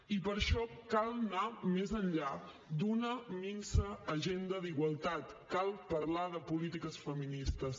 i per això cal anar més enllà d’una minsa agenda d’igualtat cal parlar de polítiques feministes